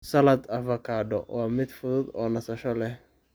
Salad Avocado waa mid fudud oo nasasho leh.